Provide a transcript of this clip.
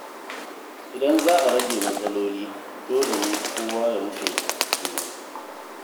Idan za a rage matsaloli, dole ne kowa ya mutunta juna.